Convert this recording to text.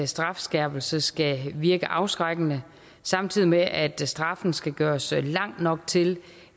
strafskærpelse skal virke afskrækkende samtidig med at straffen skal gøres lang nok til